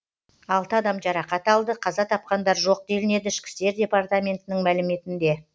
алты адам жарақат алды қаза тапқандар жоқ делінеді ішкі істер департаментінің мәліметінде